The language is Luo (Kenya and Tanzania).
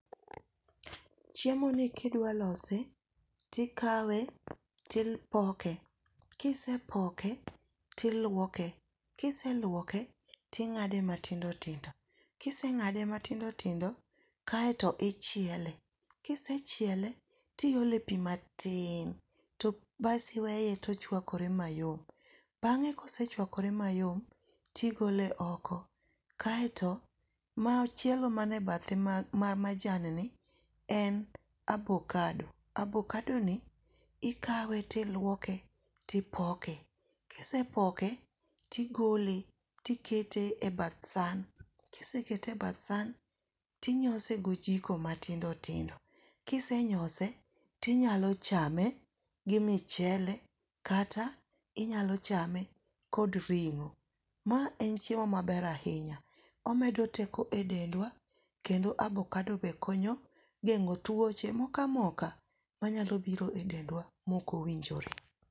Chiemoni ka idwa lose to ikawe to ipoke kisepoke to iluoke ka ise luoke to ing'ade matindo tindo, ka iseng'ade matindo tindo kaeto ichiele. Ka isechiele tomiole pi matin kaeto iweye to ochuakore mayom. Bang'e ka osechuakore mayom to igole oko kaeto machielo manie bathe ma ma majan ni en abokado. Abokadoni ikawe to iluoke to ipoke ka isepoke to igole to ikete e bath san ka isekete e bath san to inyose gi ojiko matindo indo ka isenyose to inyalo chame gi michele kata inyalo chame kod ring'o. Ma en chiemo maber ahinya omedo teko e dendwa kendo avokado be konyo geng'o tuoche moko amoka manyalo biro e dendwa maok owinjore.